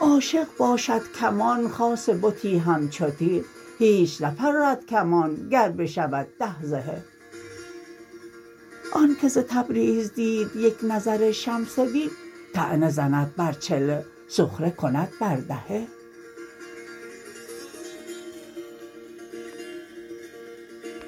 وهه عاشق باشد کمان خاص بتی همچو تیر هیچ نپرد کمان گر بشود ده زهه آنک ز تبریز دید یک نظر شمس دین طعنه زند بر چله سخره کند بر دهه